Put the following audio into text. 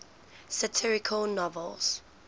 satirical novels